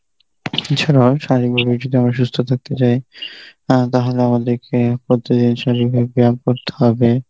এছাড়াও শারীরিকভাবে যদি আমি সুস্থ থাকতে চাই অ্যাঁ তাহলে আমাদেরকে প্রতিদিন পরিবার ব্যায়াম করতে হবে.